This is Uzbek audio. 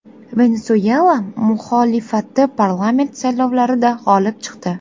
Venesuela muxolifati parlament saylovlarida g‘olib chiqdi .